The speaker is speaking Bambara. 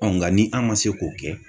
nka ni an ma se k'o kɛ.